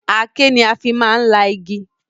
Aké ni a fi máa ń la igi